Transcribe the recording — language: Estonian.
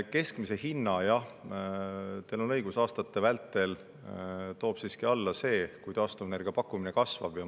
Keskmise hinna jah, teil on õigus, toob aastate vältel siiski alla see, kui taastuvenergia pakkumine kasvab.